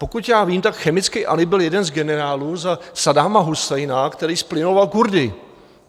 Pokud já vím, tak chemický Alí byl jeden z generálů za Saddáma Husajna, který zplynoval Kurdy.